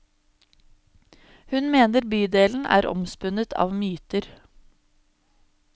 Hun mener bydelen er omspunnet av myter.